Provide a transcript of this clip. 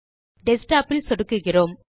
desktop இல் சொடுக்குகிறோம்